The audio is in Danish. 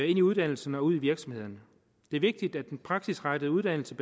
i uddannelserne og ude i virksomhederne det er vigtigt at den praksisrettede uddannelse